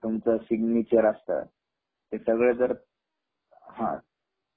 किंवातुमचे signature असता ते सगळ जर हा